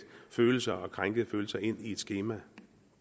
følelser og krænkede følelser ind i et skema